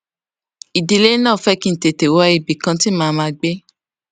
ìdílé náà fé kí n tètè wá ibì kan tí màá máa gbé